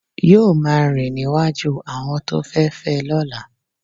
yóò máa rìn níwájú àwọn tó fẹ fé lọ́la.